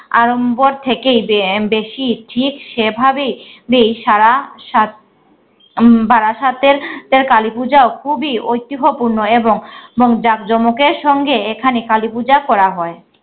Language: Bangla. আড়ম্বর থেকেই বে~ আহ বেশি ঠিক সেভাবেই বেই সারা সাত~ উম বারাসাতের তের কালীপুজাও খুবই ঐতিহ্যপূর্ণ এবং এবং জাকঁজমকের সঙ্গে এখানে কালীপূজা করা হয়।